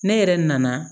Ne yɛrɛ nana